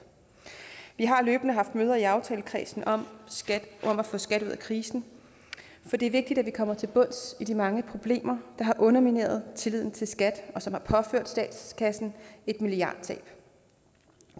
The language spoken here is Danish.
vi har løbende haft møder i aftalekredsen om skat og at få skat ud af krisen for det er vigtigt at vi kommer til bunds i de mange problemer der har undermineret tilliden til skat og som har påført statskassen et milliardtab